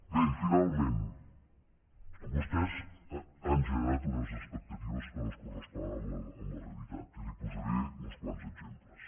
bé i finalment vostès han generat unes expectatives que no es corresponen amb la realitat i li posaré uns quants exemples